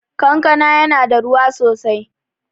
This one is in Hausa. Kankana ya na da ruwa sosai